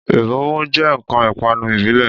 Ìmúmu jẹ́ ǹkan ìpanu ìbílẹ̀